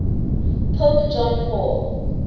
pope john paul